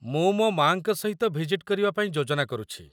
ମୁଁ ମୋ ମା'ଙ୍କ ସହିତ ଭିଜିଟ୍ କରିବା ପାଇଁ ଯୋଜନା କରୁଛି।